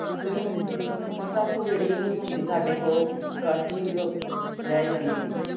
ਸਿਰਫ਼ ਮਸਾਂ ਕੁ ਜਿਹੜੀ ਜੋ ਹੁੰਦੀ ਸਾਡੇ ਕੋਲ ਕੜਛੀ ਕੁ ਰਹਿ ਜਾਂਦੀ ਹੈ।